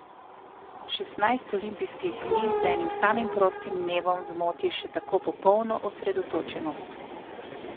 Šestnajst olimpijskih dni z enim samim prostim dnevom zmoti še tako popolno osredotočenost.